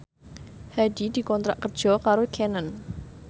Hadi dikontrak kerja karo Canon